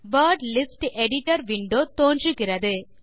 word list editor window தோன்றுகிறது